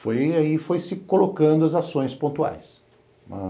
E aí foi se colocando as ações pontuais.